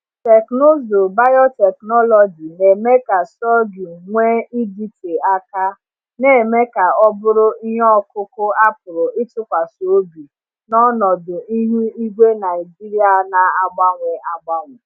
Teknụzụ biotechnology na-eme ka sorghum nwee ịdịte aka, na-eme ka ọ bụrụ ihe ọkụkụ a pụrụ ịtụkwasị obi n’ọnọdụ ihu igwe Naijiria na-agbanwe agbanwe.